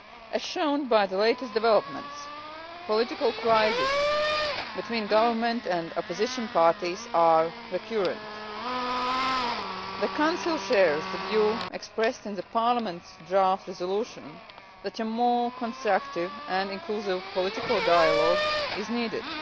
As shown by the latest developments, political crises between government and opposition parties are recurrent. The Council shares the view expressed in Parliament's draft resolution that a more constructive and inclusive political dialogue is needed.